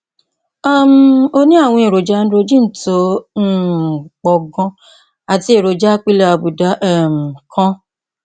um ó ní àwọn èròjà androgen tó um pọ ganan àti èròjà apilẹ àbùdá um kan